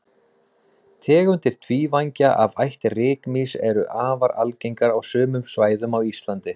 tegundir tvívængja af ætt rykmýs eru afar algengar á sumum svæðum á íslandi